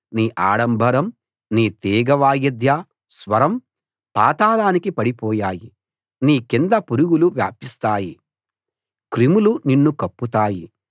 నీ ఆడంబరం నీ తీగ వాయిద్య స్వరం పాతాళానికి పడిపోయాయి నీ కింద పురుగులు వ్యాపిస్తాయి క్రిములు నిన్ను కప్పుతాయి